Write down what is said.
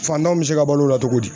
Fantanw be se ka balo o la togo di